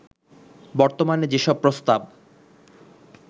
বর্তমানে সেসব প্রস্তাব